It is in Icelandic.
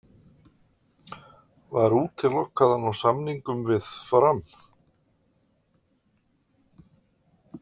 Var útilokað að ná samningum við Fram?